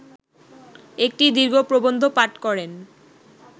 একটি দীর্ঘ প্রবন্ধ পাঠ করেন